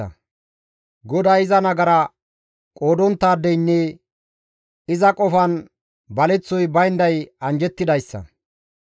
GODAY iza nagara qoodonttaadeynne iza qofan baleththoy baynday anjjettidayssa.